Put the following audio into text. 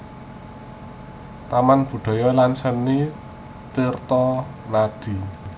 Taman Budaya lan Seni Tirtonadi